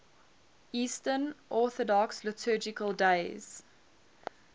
eastern orthodox liturgical days